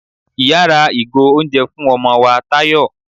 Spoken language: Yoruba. iyá ra ìgò oúnjẹ fún ọmọ wá tayọ